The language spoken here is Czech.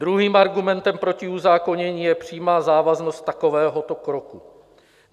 Druhým argumentem proti uzákonění je přímá závaznost takovéhoto kroku.